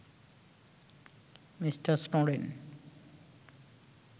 mister Snowden